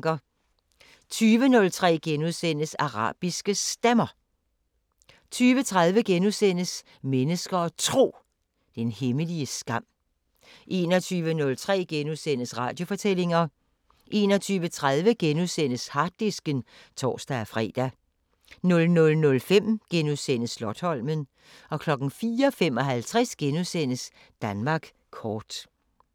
20:03: Arabiske Stemmer * 20:30: Mennesker og Tro: Den hemmelige skam * 21:03: Radiofortællinger * 21:30: Harddisken *(tor-fre) 00:05: Slotsholmen * 04:55: Danmark kort *